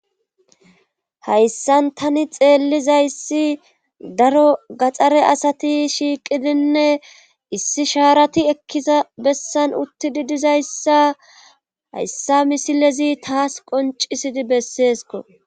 Hayssan tani xeellizayssi daro gaxxare asati shiiqidinne issi shaarati ekkiza bessan utti di dizayssa hayssa misilezi taas qoncisidi besseesko.